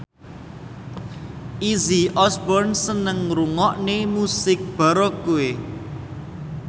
Izzy Osborne seneng ngrungokne musik baroque